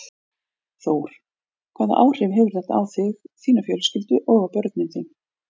Þór: Hvaða áhrif hefur þetta haft á þig, þína fjölskyldu og á börnin þín?